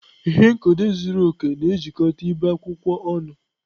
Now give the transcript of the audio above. Ihe nkedo zuru oke na-ejikọta ibe akwụkwọ ọnụ.